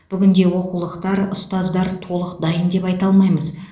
бүгінде оқулықтар ұстаздар толық дайын деп айта алмаймыз